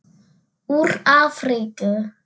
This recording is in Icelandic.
Úr Afríku!